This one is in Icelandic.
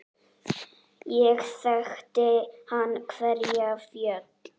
Hér þekkti hann hverja fjöl.